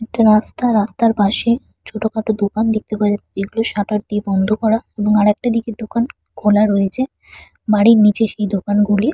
একটা রাস্তা রাস্তার পাশে ছোটখাটো দোকান দেখতে পাওয়া যাচ্ছে যেগুলো শাটার দিয়ে বন্ধ করা এবং আরেকটা দিকে দোকান খোলা রয়েছে বাড়ির নিচে সেই দোকানগুলি--